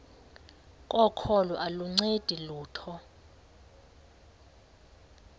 kokholo aluncedi lutho